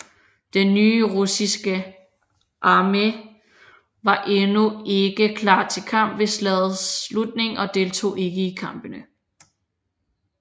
Den nye russiske armé var endnu ikke klar til kamp ved slagets slutning og deltog ikke i kampene